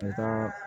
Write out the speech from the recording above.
U ka